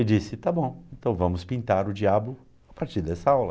E disse, tá bom, então vamos pintar o diabo a partir dessa aula.